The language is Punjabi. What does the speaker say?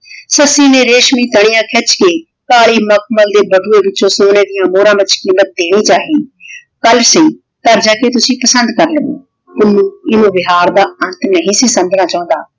ਸੱਸੀ ਨੇ ਰੇਸ਼ਮੀ ਤਲੀਆਂ ਖਿੱਚ ਕੇ ਕਾਲੀ ਮਖਮਲ ਦੇ ਬਟੂਏ ਵਿੱਚੋ ਸੋਨੇ ਦੀਆ ਮੋਹਰਾਂ ਵਿਚ ਕੀਮਤ ਦੇਣੀ ਚਾਹੀ। ਕੱਲ ਸਹੀ ਘਰ ਜਾ ਕੇ ਤੁਸੀਂ ਪਸੰਦ ਕਰ ਲਵੋਂ । ਪੁੰਨੂੰ ਇਵ ਵਿਹਾਰ ਦਾ ਅੰਤ ਨਹੀਂ ਸੀ ਸਮਝਣਾ ਚਾਹੁੰਦਾ।